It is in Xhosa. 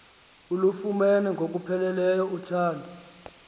ulufumene ngokupheleleyo uthando